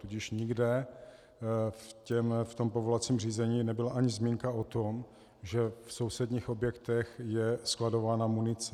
Tudíž nikde v tom povolovacím řízení nebyla ani zmínka o tom, že v sousedních objektech je skladována munice.